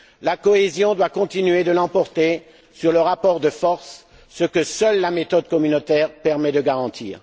La cohésion doit continuer de l'emporter sur le rapport de force, ce que seule la méthode communautaire permet de garantir.